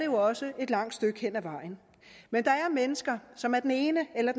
jo også et langt stykke hen ad vejen men der er mennesker som af den ene eller